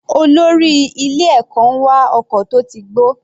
Olórí ilé ẹ̀kọ́ ń wa ọkọ̀ tó ti gbó.